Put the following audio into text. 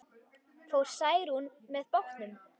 Fór Særún með bátnum.